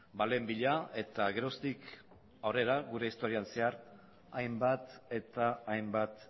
baleen bila eta geroztik aurrera gure historian zehar hainbat eta hainbat